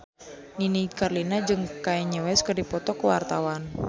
Nini Carlina jeung Kanye West keur dipoto ku wartawan